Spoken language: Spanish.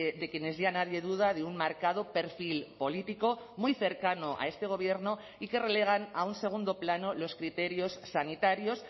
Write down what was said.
de quienes ya nadie duda de un marcado perfil político muy cercano a este gobierno y que relegan a un segundo plano los criterios sanitarios